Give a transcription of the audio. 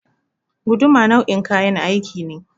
Guduma nau'in kayan aiki ne.